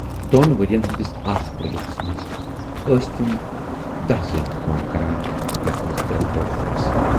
دۅن ؤرۍیَن ہٕندِس اَتھ پروجیکٹس منز ٲسۍ تِم دٔہ زٔنۍ کٲم کران، یَتھ منز ترے کورِ تہِ آسہٕ۔